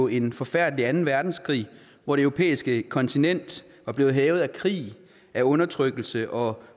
en forfærdelig anden verdenskrig hvor det europæiske kontinent var blevet hærget af krig af undertrykkelse og